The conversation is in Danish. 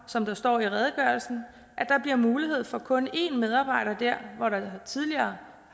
som der står i redegørelsen at der bliver mulighed for kun en medarbejder der hvor der tidligere